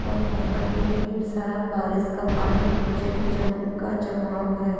और यहाँ पे ढ़ेर सारा बारिश का पानी ज जमका जमाव है।